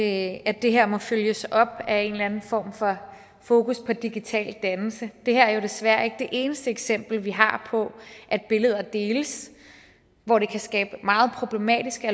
at det her må følges op af en eller anden form for fokus på digital dannelse det her er jo desværre ikke det eneste eksempel vi har på at billeder deles hvor det kan skabe meget problematiske